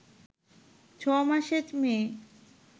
ছ’মাসের মেয়ে